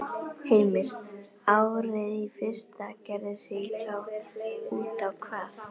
Heimir: Árið í fyrra gerði sig þá út á hvað?